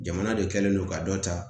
Jamana de kɛlen don ka dɔ ta